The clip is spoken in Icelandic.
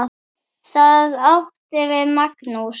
Það átti við Magnús.